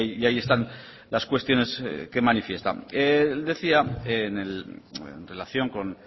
y ahí están las cuestiones que manifiesta él decía en relación con